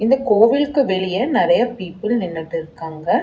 இந்த கோவில்க்கு வெளியே நெறைய பீப்பிள் நின்னுட்ருக்காங்க.